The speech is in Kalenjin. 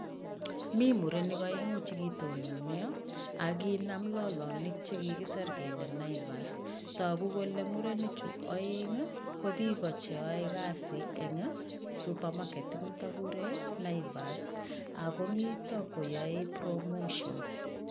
Mi murenik oengu chi kitononyo, akinam lolonik chi kikisir kele Naivas, toku kole murenichu oeng ko biik koche oe kazi eng supermarket inito kikure Naivas, ako mito koyoe promotion.